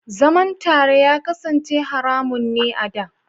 Zaman tare ya kasance haramun ne a da.